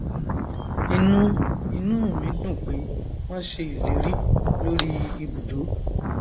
inú inú ù mí dùn pé wọn ṣe ìlérí lórí ìbùdó